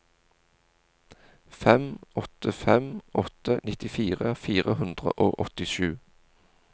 fem åtte fem åtte nittifire fire hundre og åttisju